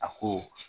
A ko